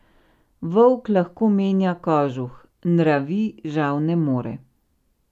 Volk lahko menja kožuh, nravi žal ne more.